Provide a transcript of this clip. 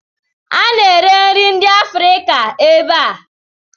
A na-ere nri ndị Afrịka ebe a?